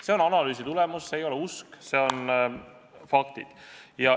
See on analüüsi tulemus, see ei ole usk, see tugineb faktidele.